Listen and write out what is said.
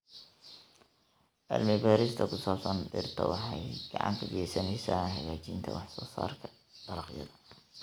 Cilmi-baarista ku saabsan dhirta waxay gacan ka geysaneysaa hagaajinta waxsoosaarka dalagyada.